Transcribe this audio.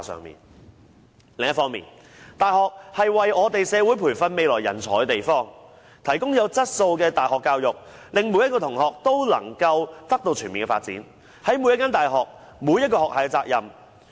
另一方面，大學是為我們社會培訓未來人才的地方，提供有質素的大學教育，令每位同學也獲得全面發展，這是每所大學、每個學系的責任。